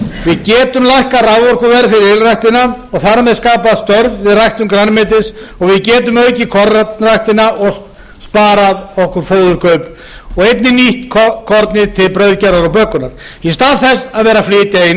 við gætum lækkað raforkuverð fyrir ylræktina og þar með skapað störf við ræktun grænmetis og við getum aukið kornræktina og sparað okkur fóðurkaup og einnig nýtt kornið til brauðgerðar og bökunar í stað þess að vera að flytja inn